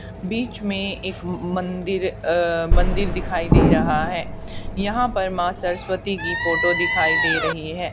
बीच में एक मंदिर अह मंदिर दिखाई दे रहा है यहां पे मां सरस्वती की फोटो दिखाई दे रही है।